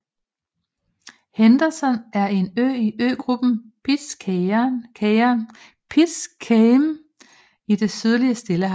Henderson er en ø i øgruppen Pitcairn i det sydlige Stillehav